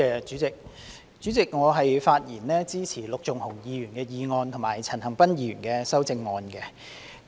主席，我發言支持陸頌雄議員的原議案和陳恒鑌議員的修正案。